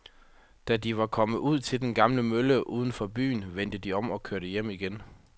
Da de var kommet ud til den gamle mølle uden for byen, vendte de om og kørte hjem igen.